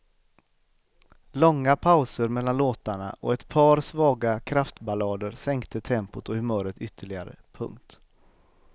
Långa pauser mellan låtarna och ett par svaga kraftballader sänkte tempot och humöret ytterligare. punkt